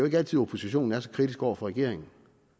ikke altid oppositionen er så kritisk over for regeringen